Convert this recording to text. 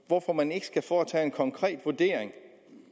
hvorfor man ikke skal foretage en konkret vurdering